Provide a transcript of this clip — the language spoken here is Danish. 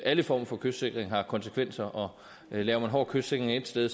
alle former for kystsikring har konsekvenser laver man hård kystsikring et sted